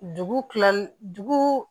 Dugu kilali dugu